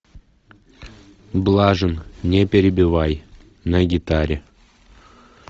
блажин не перебивай на гитаре